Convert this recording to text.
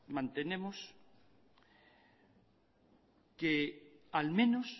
mantenemos que al menos